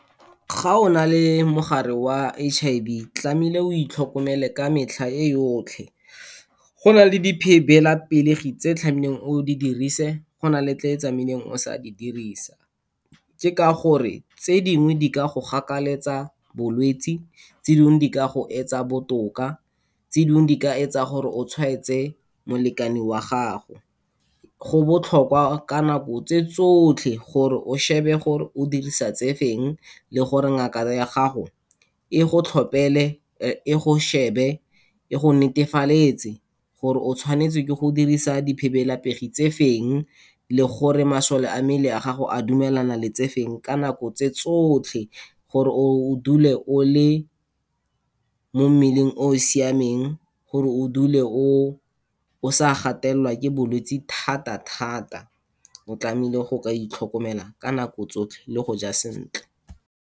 Ga o na le mogare wa H_I_V tlamehile o itlhokomele ka metlha e yotlhe. Go na le tse tlamehileng o di dirise, go na le tse o tsamaileng o sa di dirisa, ke ka gore tse dingwe di ka go gakaletsa bolwetsi, tse dingwe di ka go etsa botoka, tse dingwe di ka etsa gore o tshwaetse molekane wa gago. Go botlhokwa ka nako tse tsotlhe, gore o shebe gore o dirisa tse feng le gore ngaka ya gago e go tlhopele, e go shebe, e go netefaletse gore o tshwanetse ke go dirisa tse feng le gore masole a mmele a gago, a dumelana le tsefeng ka nako tse tsotlhe, gore o dule o le mo mmeleng o siameng, gore o dule o, o sa gatelelwa ke bolwetsi thata-thata. O tlamehile go ka itlhokomela ka nako tsotlhe le go ja sentle.